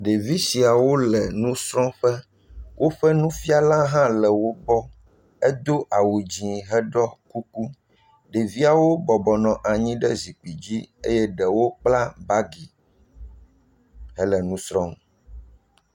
Ɖevi siawo le nusrɔ̃ƒe. Woƒe nufiala hã le wogbɔ. Edo awu dziẽ heɖɔ kuku. Ɖeviawo bɔbɔ nɔ anyi ɖe zikpi dzi eye ɖewo kpla bagi hele nu srɔ̃m.